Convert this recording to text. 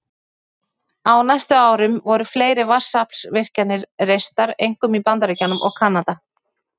Á næstu árum voru fleiri vatnsaflsvirkjanir reistar, einkum í Bandaríkjunum og Kanada.